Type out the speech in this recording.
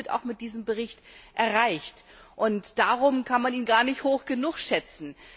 Beides wird mit diesem Bericht auch erreicht, und darum kann man ihn gar nicht hoch genug schätzen.